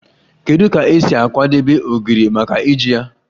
Kedu ka e si akwadebe ogiri maka iji ya?